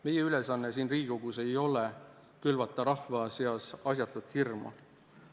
Meie ülesanne siin Riigikogus ei ole külvata rahva seas asjatut hirmu.